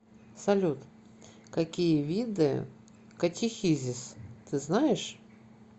салют какие виды катехизис ты знаешь